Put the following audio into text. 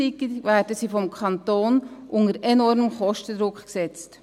Gleichzeitig werden sie vom Kanton unter enormen Kostendruck gesetzt.